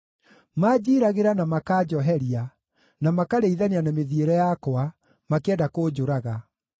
Manjiiragĩra na makanjoheria, na makarĩithania na mĩthiĩre yakwa, makĩenda kũnjũraga.